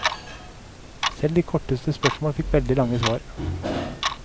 Selv de korteste spørsmål fikk veldig lange svar.